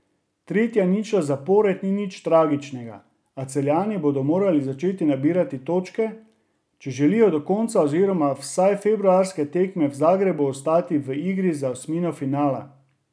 Tretja ničla zapored ni nič tragičnega, a Celjani bodo morali začeti nabirati točke, če želijo do konca oziroma vsaj februarske tekme v Zagrebu ostati v igri za osmino finala.